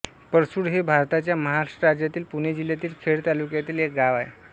परसुळ हे भारताच्या महाराष्ट्र राज्यातील पुणे जिल्ह्यातील खेड तालुक्यातील एक गाव आहे